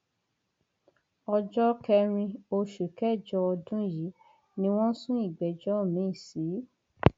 ọjọ kẹrin oṣù kẹjọ ọdún yìí ni wọn sún ìgbẹjọ miín sí